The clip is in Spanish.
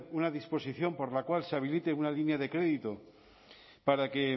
una disposición por la cual se habilite una línea de crédito para que